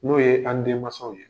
N'o ye an denmansaw ye